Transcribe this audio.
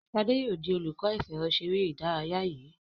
Shade yóò dì olùkó ìfẹ̀rọṣeré ìdárayá dì yí.